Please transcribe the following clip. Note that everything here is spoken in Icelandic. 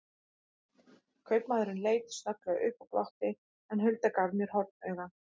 Kaupamaðurinn leit snögglega upp og glotti, en Hulda gaf mér hornauga.